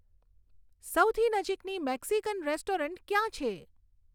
સૌથી નજીકની Mexican restaurant ક્યાં છે